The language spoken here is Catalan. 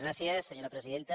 gràcies senyora presidenta